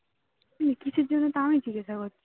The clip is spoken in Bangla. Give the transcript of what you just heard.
কিসের জন্য তাও আমি জিজ্ঞাসা করছি